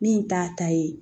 Min t'a ta ye